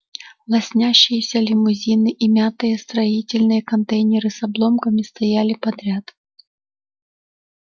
лоснящиеся лимузины и мятые строительные контейнеры с обломками стояли подряд